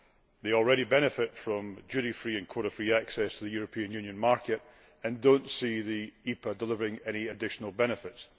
They already benefit from duty free and quota free access to the European Union market and do not see the EPA delivering any additional benefits.